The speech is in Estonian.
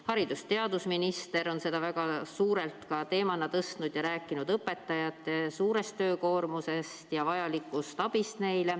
Haridus- ja teadusminister on seda väga suure teemana tõstnud ning rääkinud õpetajate suurest töökoormusest ja neile vajalikust abist.